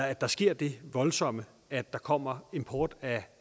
at der sker det voldsomme at der kommer import af